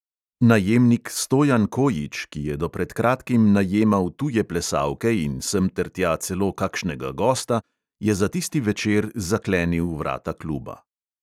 Najemnik stojan kojić, ki je do pred kratkim najemal tuje plesalke in semtertja celo kakšnega gosta, je za tisti večer zaklenil vrata kluba.